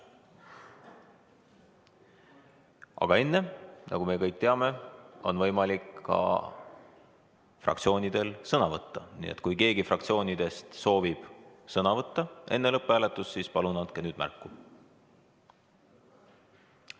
Aga enne, nagu me kõik teame, on võimalik fraktsioonidel sõna võtta, nii et kui keegi fraktsioonidest soovib sõna võtta enne lõpphääletust, siis palun andke nüüd märku.